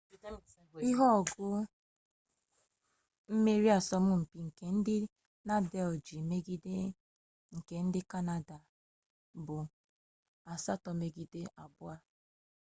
ihe ogo mmeri n'asọmụmpi nke ndị nadal ji megide nke ndị kanada bụ 7-2